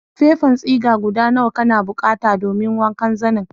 Fefan siga guda nawa kana bukatan domin wancan zanen?